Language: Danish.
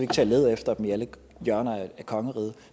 til at lede efter dem i alle hjørner af kongeriget